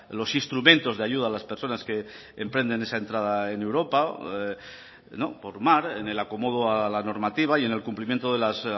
los instrumentos de ayuda a las personas que emprenden esa entrada en europa por mar en el acomodo a la normativa y en el cumplimiento de los